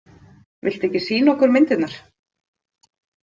Viltu ekki sýna okkur myndirnar?